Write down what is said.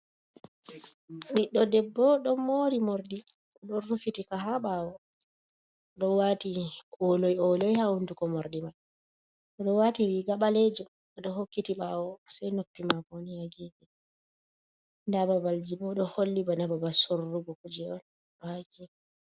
Ɓiɗdo debbo ɗo mori morɗi o ɗo rufitika ha ɓawo, o ɗo wati ole ole ha hunduko morɗi man, o ɗo wati riga ɓalejum ɗo hokkiti ɓawo, sei noppi mako bo, nda babalji bo ɗo holli bana babal sorrugo kuje on.